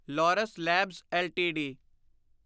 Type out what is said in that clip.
Laurus Labs LTD